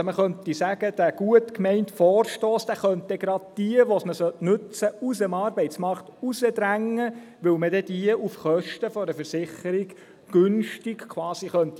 Man könnte also sagen, dieser gut gemeinte Vorstoss könnte gerade diejenigen, denen er nützen sollte, aus dem Arbeitsmarkt hinausdrängen, weil man diese dann auf Kosten einer Versicherung quasi günstig entlassen könnte.